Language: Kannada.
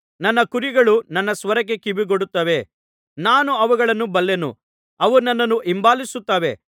ನನ್ನ ಕುರಿಗಳು ನನ್ನ ಸ್ವರಕ್ಕೆ ಕಿವಿಗೊಡುತ್ತವೆ ನಾನು ಅವುಗಳನ್ನು ಬಲ್ಲೆನು ಅವು ನನ್ನನ್ನು ಹಿಂಬಾಲಿಸುತ್ತವೆ